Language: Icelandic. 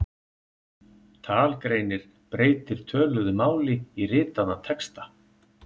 Talgreinir breytir töluðu máli í ritaðan texta.